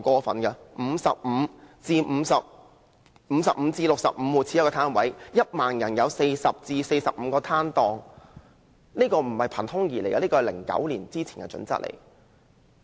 每55至65戶家庭應有一個街市檔位，或每1萬人應有40至45個攤檔，並不是憑空想象的，而是2009年之前的準則。